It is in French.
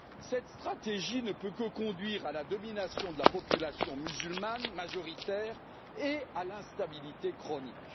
Cette stratégie ne peut que conduire à la domination de la population musulmane, majoritaire, et à l'instabilité chronique.